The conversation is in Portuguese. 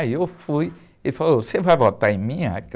Aí eu fui, ele falou, você vai votar em mim?